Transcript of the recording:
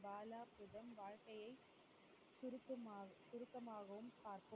பாலாவிடம் வாழ்கையை திருத்தமா~ திருத்தமாகவும் பார்த்த